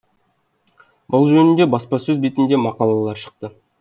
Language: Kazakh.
бұл жөнінде баспасөз бетінде мақалалар шықты